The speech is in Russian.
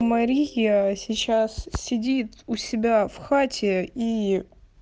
мария сейчас сидит у себя в хате ии